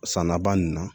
San laban nin na